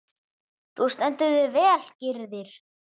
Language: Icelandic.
Þú stendur þig vel, Gyrðir!